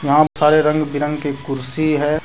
यहां सारे रंग बिरंग के कुर्सी है।